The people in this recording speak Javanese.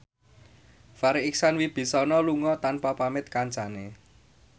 Farri Icksan Wibisana lunga tanpa pamit kancane